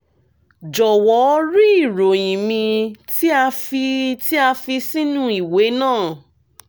jọwọ rí ìròyìn mi tí a fi tí a fi sínú ìwé náà